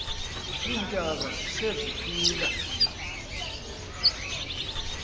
iintaka zise ziphila